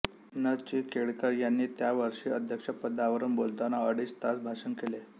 न चिं केळकर यांनी त्या वर्षी अध्यक्षपदावरून बोलताना अडीच तास भाषण केले